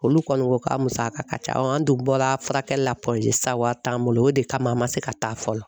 Olu kɔni ko k'a musaka ka ca an dun bɔra furakɛli la wari t'an bolo o de kama an ma se ka taa fɔlɔ